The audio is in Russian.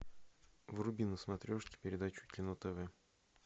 вруби на смотрешке передачу кино тв